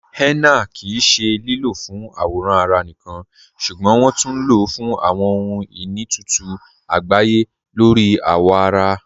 Henna kí í ṣẹ lílọ́ fún àwòràn ará níkan ṣúgbọ́n wọn tún ló fún àwọn ọhun-iní itutu àgbáyé lórí awọ ará.